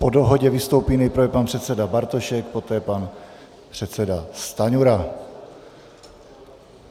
Po dohodě vystoupí nejprve pan předseda Bartošek, poté pan předseda Stanjura.